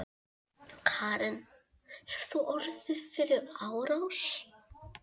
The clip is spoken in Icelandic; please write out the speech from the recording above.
Karen: Hefurðu orðið fyrir árás?